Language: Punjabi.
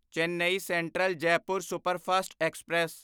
Chennai central Jaipur superfast express